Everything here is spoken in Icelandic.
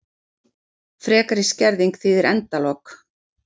Frekari skerðing þýðir endalok